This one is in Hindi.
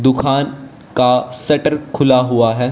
दुकान का सटर खुला हुआ है।